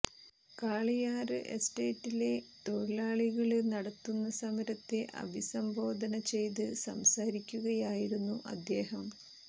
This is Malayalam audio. കാളിയാര് എസ്റ്റേറ്റിലെ തൊഴിലാളികള് നടത്തുന്ന സമരത്തെ അഭിസംബോധന ചെയ്ത് സംസാരിക്കുകയിരുന്നു അദ്ദേഹം